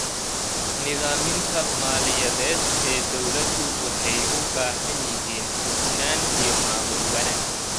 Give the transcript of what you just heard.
Nidaamyada maaliyadeed ee dawladdu waxay u baahan yihiin hufnaan iyo maamul wanaag.